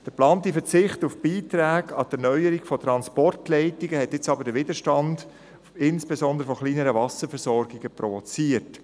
Der geplante Verzicht auf Beiträge an die Erneuerung von Transportleitungen hat jetzt aber insbesondere bei kleinen Wasserversorgungen Wiederstand provoziert.